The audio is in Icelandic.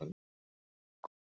Nadja, hvernig kemst ég þangað?